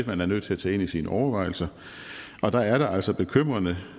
man er nødt til at tage ind i sine overvejelser og der er det altså bekymrende